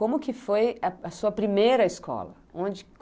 Como que foi a sua primeira escola? Onde